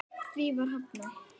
Því var hafnað.